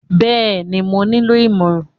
Bẹ́ẹ̀ni, mo nílò ìmọ̀ràn.